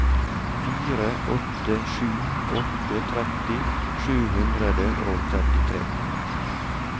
fire åtte sju åtte tretti sju hundre og trettitre